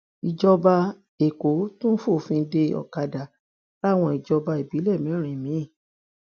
ìjọba èkó tún fòfin de ọkadà láwọn ìjọba ìbílẹ mẹrin mi